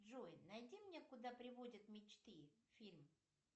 джой найди мне куда приводят мечты фильм